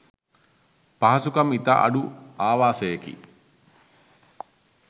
පහසුකම් ඉතා අඩු ආවාසයකි.